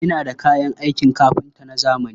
Ina da kayan aikin kafinta na zamani.